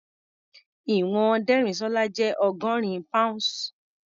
Ìwọ̀n Dérìsọ́lá jẹ́ ọgọ́rin pounds.